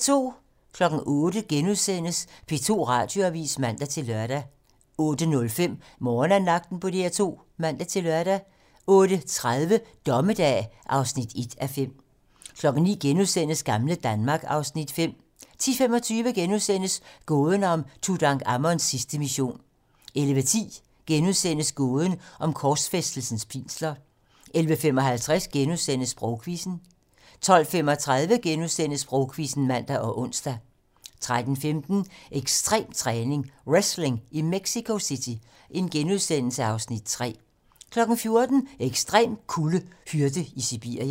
08:00: P2 Radioavisen *(man-lør) 08:05: Morgenandagten på DR2 (man-lør) 08:30: Dommedag (1:5) 09:00: Gamle Danmark (Afs. 5)* 10:25: Gåden om Tutankhamons sidste mission * 11:10: Gåden om korsfæstelsens pinsler * 11:55: Sprogquizzen * 12:35: Sprogquizzen *(man og ons) 13:15: Ekstrem træning: Wrestling i Mexico (Afs. 3)* 14:00: Ekstrem kulde: Hyrde i Sibirien